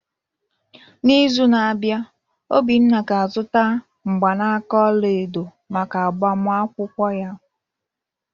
N’izu na-abịa, Obinna ga-azụta mgbanaka ọla edo maka agbamakwụkwọ ya